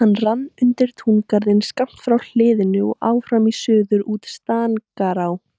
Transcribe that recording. Hann rann undir túngarðinn skammt frá hliðinu og áfram í suður út í Stangará.